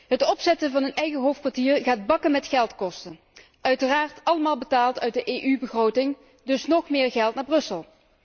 Het opzetten van een eigen hoofdkwartier gaat bakken met geld kosten, uiteraard allemaal betaald uit de EU begroting, dus nóg meer geld naar Brussel.